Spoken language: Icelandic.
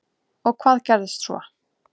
Og hvað gerðist svo?